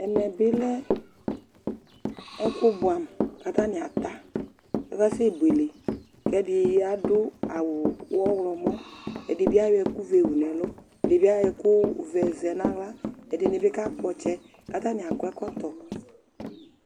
Ɛmɛ bɩ lɛ ɛkʋbʋɛamʋ kʋ atanɩ ata kʋ akasɛbuele kʋ ɛdɩ adʋ awʋ ɔɣlɔmɔ Ɛdɩ bɩ ayɔ ɛkʋvɛ wu nʋ ɛlʋ, ɛdɩ bɩ ayɔ ɛkʋvɛ zɛ nʋ aɣla Ɛdɩnɩ bɩ kakpɔ ɔtsɛ kʋ atanɩ akɔ ɛkɔtɔ